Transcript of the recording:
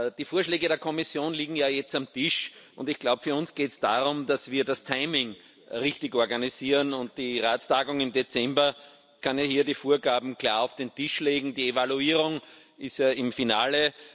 Die Vorschläge der Kommission liegen jetzt auf dem Tisch. Ich glaube, für uns geht es darum, dass wir das Timing richtig organisieren, und die Ratstagung im Dezember kann ja hier die Vorgaben klar auf den Tisch legen, die Evaluierung ist ja im Finale.